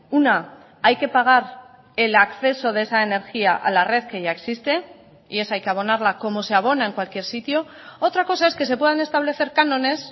una hay que pagar el acceso de esa energía a la red que ya existe y esa hay que abonarla como se abona en cualquier sitio otra cosa es que se puedan establecer cánones